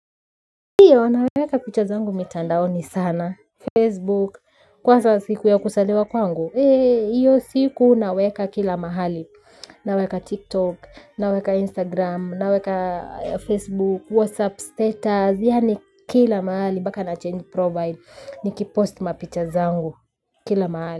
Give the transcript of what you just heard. Ndio naweka picha zangu mitandaoni sana facebook kwanza siku ya kuzaliwa kwangu hiyo siku naweka kila mahali naweka tiktok naweka instagram naweka facebook whatsapp status yaani kila mahali mpaka nachange profile nikipost mapicha zangu kila mahali.